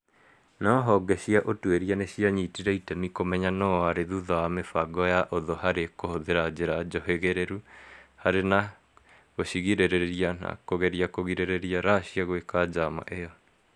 No honge cia ũtũĩria nĩcianyĩtire itemi kũmenya nũũ warĩ thutha wa mĩbango ya ũthũ harĩ kũhũthĩra njĩra njũhĩgĩrĩru harĩ na gucigirĩrĩria na kugerĩa kũgirĩrĩria Russia gwĩka njama ĩyo